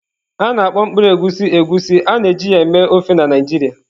A na-akpọ mkpụrụ egusi Egusi, a na-eji ya eme ofe na Naijiria.